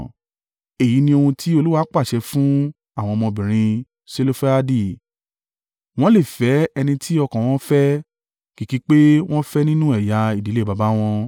Èyí ni ohun tí Olúwa pàṣẹ fún àwọn ọmọbìnrin Selofehadi: wọ́n lè fẹ́ ẹni tí ọkàn wọn fẹ́, kìkì pé wọ́n fẹ́ nínú ẹ̀yà ìdílé baba wọn.